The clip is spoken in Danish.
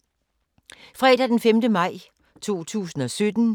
Fredag d. 5. maj 2017